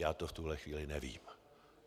Já to v tuhle chvíli nevím.